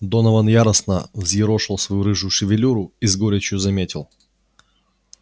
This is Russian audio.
донован яростно взъерошил свою рыжую шевелюру и с горечью заметил